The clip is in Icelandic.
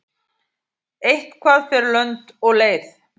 Eitthvað fer lönd og leið